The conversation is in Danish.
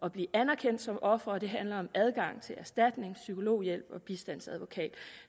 at blive anerkendt som ofre og det handler om adgang til erstatning psykologhjælp og bistandsadvokat